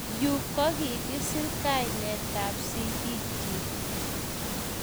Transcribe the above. Yu kokikiser kainetab sigikchi